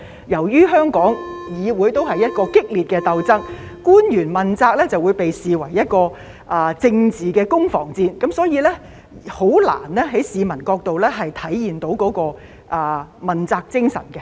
由於香港議會過去存在激烈的鬥爭，官員問責就會被視為政治的攻防戰，所以難以從市民的角度體現問責精神。